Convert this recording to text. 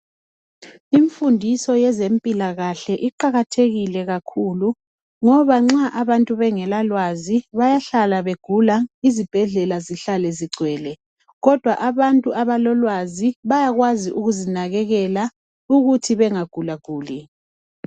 Imfundiso yezempilakahle iqakathekile kakhula ngoba nxa abantu bengelalwazi bayahlala begula izibhedlela zihlale zigcwele kodwa abantu abalolwazi bayakwazi ukuzinakekela ukuthi bengagulaguli